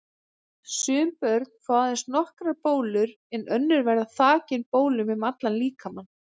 Sum börn fá aðeins nokkrar bólur en önnur verða þakin bólum um allan líkamann.